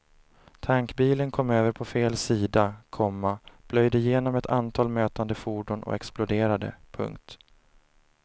Tankbilen kom över på fel sida, komma plöjde genom ett antal mötande fordon och exploderade. punkt